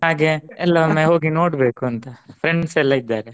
ಹಾಗೆ ಎಲ್ಲವನ್ನು ಹೋಗಿ ನೋಡಬೇಕು ಅಂತ friends ಎಲ್ಲ ಇದ್ದಾರೆ